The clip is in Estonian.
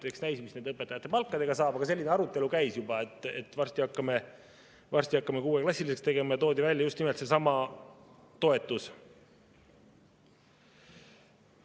Eks näis, mis nende õpetajate palkadega saab, aga selline arutelu juba käis, et varsti hakatakse kuueklassiliseks tegema, ja toodi välja just nimelt seesama toetus.